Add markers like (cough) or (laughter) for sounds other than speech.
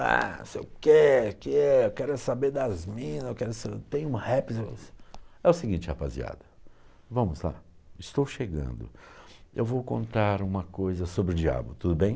Ah, não sei o que, (unintelligible) eu quero saber é das mina, eu quero saber, tem um rap... É o seguinte, rapaziada, vamos lá, estou chegando, eu vou contar uma coisa sobre o diabo, tudo bem?